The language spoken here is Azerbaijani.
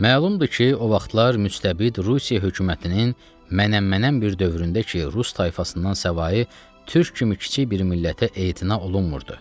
Məlumdur ki, o vaxtlar müstəbid Rusiya hökumətinin mənəm-mənəm bir dövründə ki, Rus tayfasından savayı türk kimi kiçik bir millətə etina olunmurdu.